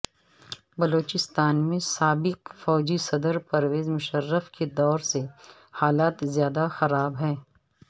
بلوچستان میں سابق فوجی صدر پرویز مشرف کے دور سے حالات زیادہ خراب ہیں